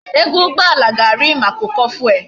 Ego ugboala ga ari maka uko fuel